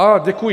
Á, děkuji.